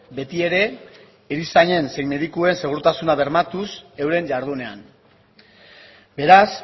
beti ere erizainen zein medikuen segurtasuna bermatuz euren jardunean beraz